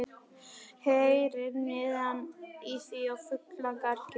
Heyrir niðinn í því og fuglagargið.